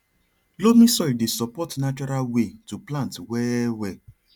loamy soil dey support natural way to plant well well